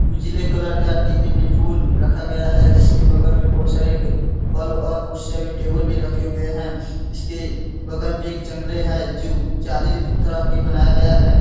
उजले कलर का डिबे में फूल रखा गया है जिसके बगल में बोहोत सारे फल और कुर्सियां भी टेबल भी रखे हुए हैं इसके बगल में एक जंगले हैं जो जाली तरह के बनाया गया है|